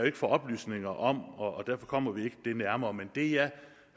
ikke få oplysninger om og derfor kommer vi ikke det nærmere men det jeg